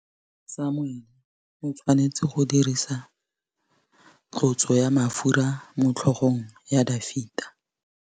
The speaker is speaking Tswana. Samuele o tshwanetse go dirisa tlotsô ya mafura motlhôgong ya Dafita.